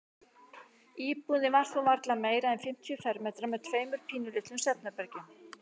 Íbúðin var þó varla meira en fimmtíu fermetrar með tveimur pínulitlum svefnherbergjum.